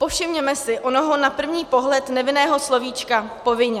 Povšimněme si onoho na první pohled nevinného slovíčka povinně.